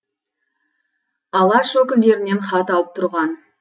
алаш өкілдерінен хат алып тұрған